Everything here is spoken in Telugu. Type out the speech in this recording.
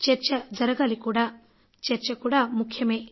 చర్చ జరగాలి కూడా ఆ చర్చ కూడా అంతే ముఖ్యం